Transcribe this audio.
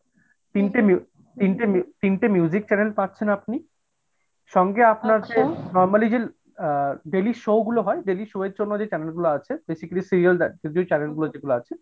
তিনটে মি তিনটে তিনটে channel পাচ্ছেন আপনি, সঙ্গে আপনার আছে normally যে আ daily show গুলা হয় daily show এর জন্য যে channel গুলা আছে basically serial দেখার যে channel গুলো যেগুলো আছে